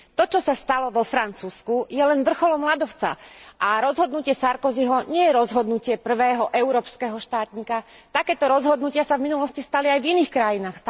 To, čo sa stalo vo Francúzsku, je len vrcholom ľadovca a rozhodnutie Sarkozyho nie je rozhodnutie prvého európskeho štátnika. Takéto rozhodnutia sa v minulosti stali aj v iných krajinách.